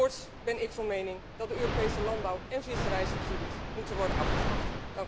Voorts ben ik van mening dat de Europese landbouw en visserijsubsidies moeten worden afgeschaft.